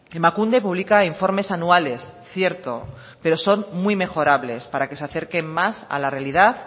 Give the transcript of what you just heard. emakunde publica informes anuales cierto pero son muy mejorables para que se acerquen más a la realidad